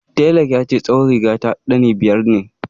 Telan ya ce tsawon riga ta ɗani biyar ne